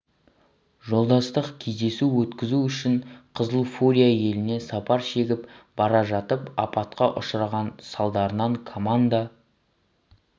жолдастық кездесу өткізу үшін қызыл фурия еліне сапар шегіп бара жатып апатқа ұшыраған салдарынан команда